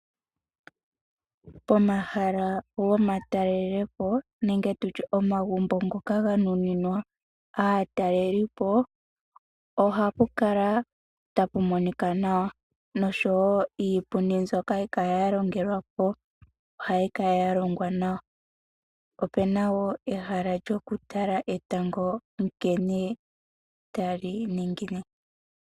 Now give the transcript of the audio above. Pomahala gomatalelepo nenge momagumbo ngoka ga nuninwa aatalelipo ohapu kala tapu monika nawa noshowo iipundi mbyoka hayi kala ya longelwa po ohayi kala ya longwa nawa. Opu na wo ehala lyokutala etango ngele tali ningine.